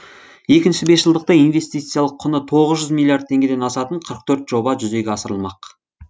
екінші бесжылдықта инвестициялық құны тоғыз жүз миллиард теңгеден асатын қырық төрт жоба жүзеге асырылмақ